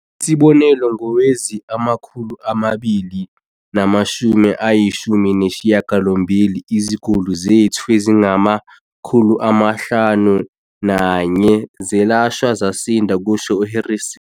"Isibonelo, ngowezi-2018, iziguli zethu ezingama-514 zelashwa zasinda," kusho u-Harrison.